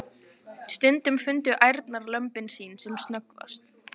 Stundum fundu ærnar lömbin sín sem snöggvast.